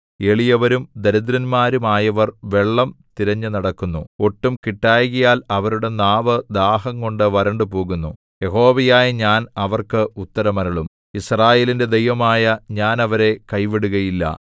എളിയവരും ദരിദ്രന്മാരുമായവർ വെള്ളം തിരഞ്ഞുനടക്കുന്നു ഒട്ടും കിട്ടായ്കയാൽ അവരുടെ നാവ് ദാഹംകൊണ്ടു വരണ്ടുപോകുന്നു യഹോവയായ ഞാൻ അവർക്ക് ഉത്തരം അരുളും യിസ്രായേലിന്റെ ദൈവമായ ഞാൻ അവരെ കൈവിടുകയില്ല